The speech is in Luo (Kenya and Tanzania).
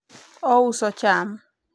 ouso cham